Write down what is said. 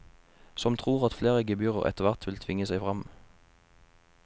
Som tror at flere gebyrer etterhvert vil tvinge seg frem.